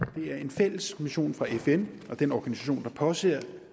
det er en fælles mission fra fn og den organisation der påser